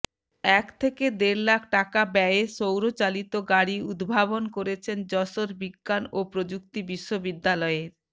এক থেকে দেড় লাখ টাকা ব্যয়ে সৌরচালিত গাড়ি উদ্ভাবন করেছেন যশোর বিজ্ঞান ও প্রযুক্তি বিশ্ববিদ্যালয়ের